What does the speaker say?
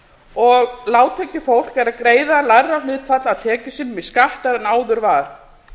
og lágtekjufólk er að greiða lægra hlutfall af tekjum sínum í skatta en áður var